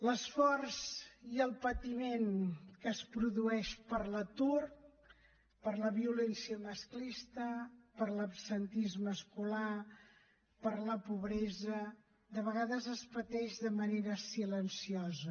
l’esforç i el patiment que es produeix per l’atur per la violència masclista per l’absentisme escolar per la pobresa de vegades es pateix de manera silenciosa